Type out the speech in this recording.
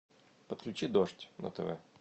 подключи дождь на тв